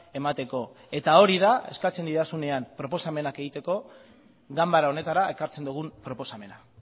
emateko eta hori da eskatzen didazunean proposamenak egiteko ganbara honetara ekartzen dugun proposamena